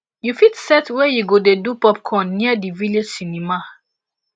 you fit set where u go dey do popcorn near di village cinema